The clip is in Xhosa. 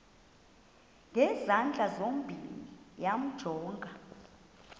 ngezandla zozibini yamjonga